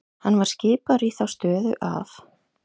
Hann var skipaður í þá stöðu af